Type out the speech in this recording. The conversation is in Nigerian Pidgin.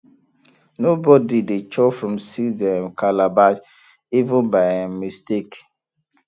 nobody dey chop from seed um calabash even by um mistake